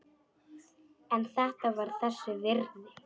En þetta var þess virði.